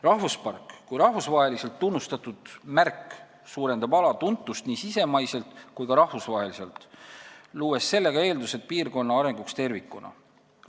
Rahvuspark kui rahvusvaheliselt tunnustatud märk suurendab ala tuntust nii sisemaiselt kui ka rahvusvaheliselt, luues eeldused piirkonna arenguks tervikuna.